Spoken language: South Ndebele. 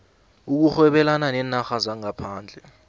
ukurhwebelana neenarha zangaphandle